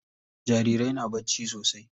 Jarirai na bacci sosai.